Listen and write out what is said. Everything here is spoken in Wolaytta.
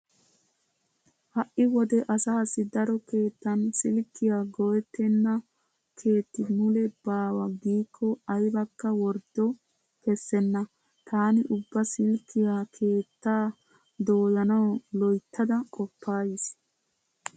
Ha"i wode asaassi daro keettan silkkiya go'ettenna keeti mule baawa giikko aybakka worddo kessenna. Taani ubba silkkiya keettaa doyanawu loyttada qoppays.